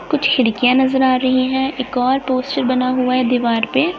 कुछ खिड़कियां नजर आ रही है एक और पोस्टर बना हुआ है दिवार पे।